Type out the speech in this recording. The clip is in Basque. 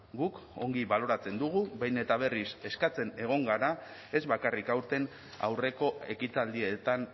guk ongi baloratzen dugu behin eta berriz eskatzen egon gara ez bakarrik aurten aurreko ekitaldietan